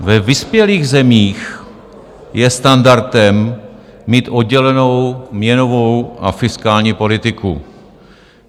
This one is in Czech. Ve vyspělých zemích je standardem mít oddělenou měnovou a fiskální politiku.